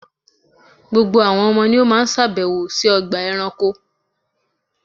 Gbogbo àwọn ọmọ ni ó máa sàbẹ̀wò sí ọgbà ẹranko.